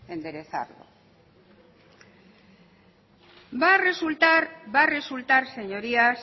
enderezar va a resultar va a resultar señorías